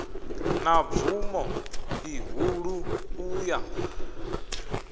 na bvumo ḽihulu u ya